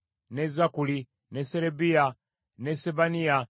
ne Zakkuli, ne Serebiya, ne Sebaniya,